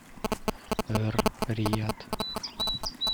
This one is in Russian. эр рияд